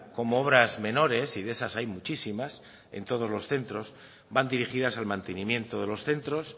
como obras menores y de esas hay muchísimas en todos los centros van dirigidas al mantenimiento de los centros